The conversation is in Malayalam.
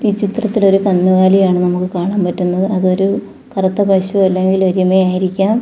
ഈ ചിത്രത്തിൽ ഒരു കന്നുകാലിയെയാണ് നമുക്ക് കാണാൻ പറ്റുന്നത് അതൊരു കറുത്ത പശു അല്ലെങ്കിൽ എരുമ ആയിരിക്കാം.